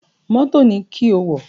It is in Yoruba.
Mọ́tò ni kí o wọ̀!